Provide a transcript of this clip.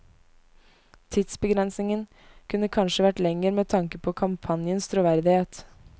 Tidsbegrensningen kunne kanskje vært lenger med tanke på kampanjens troverdighet.